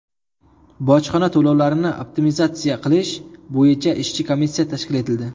Bojxona to‘lovlarini optimizatsiya qilish bo‘yicha ishchi komissiya tashkil etildi.